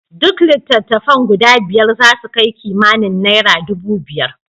Duk litattafan guda biyar zasu kai kimanin nera dubu biyar.